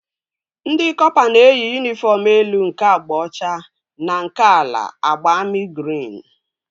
Ndị kọpa na-eyi yunifọm elu nke agba ọcha na nke ala agba amị grin